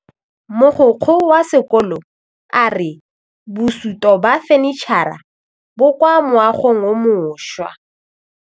Mogokgo wa sekolo a re bosutô ba fanitšhara bo kwa moagong o mošwa.